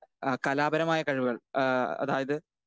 speaker 2 ആ കലാപരമായ കഴിവുകൾ ഏഹ് അതായത്